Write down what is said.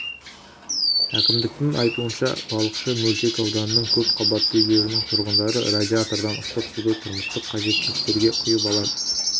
әкімдіктің айтуынша балықшы мөлтек ауданының көп қабатты үйлерінің тұрғындары радиатордан ыстық суды тұрмыстық қажеттіліктерге құйып алады